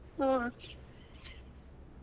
ಹ್ಮ್.